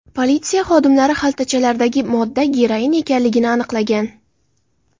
Politsiya xodimlari xaltachalardagi modda geroin ekanligini aniqlagan.